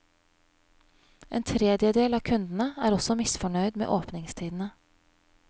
En tredjedel av kundene er også misfornøyd med åpningstidene.